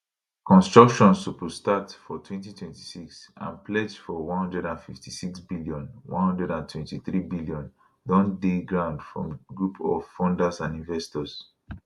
construction suppose start for 2026 and pledge for 156bn 123bn don dey ground from group of funders and investors